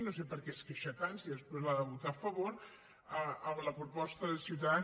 no sé per què es queixa tant si després l’ha de votar a favor amb la proposta de ciutadans